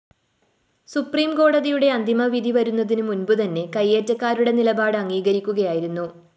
സുപ്രീംകോടതിയുടെ അന്തിമവിധി വരുന്നതിന് മുന്‍പ് തന്നെ കൈയേറ്റക്കാരുടെ നിലപാട് അംഗീകരിക്കുകയായിരുന്നു